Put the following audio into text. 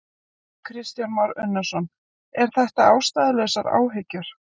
Kristján Már Unnarsson: Er þetta ástæðulausar áhyggjur?